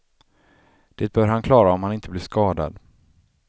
Det bör han klara om han inte blir skadad.